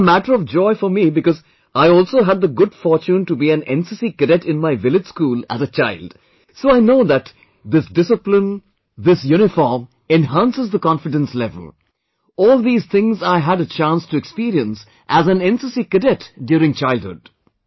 It is matter of joy for me because I also had the good fortune to be an NCC Cadet in my village school as a child, so I know that this discipline, this uniform, enhances the confidence level, all these things I had a chance to experience as an NCC Cadet during childhood